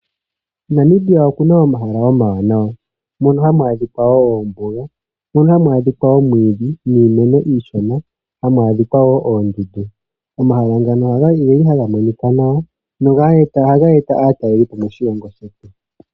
Namibia okuna omahala omawanawa ngaashi ombuga. Mombuga oha mu adhika omwiidhi niimeno iishona osho wo oondundu. Omahala ngano oha ga monika nawa no ha ga e ta aatalelipo moshilongo shetu.